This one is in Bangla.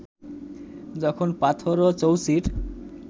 যখন পাথরও চৌচির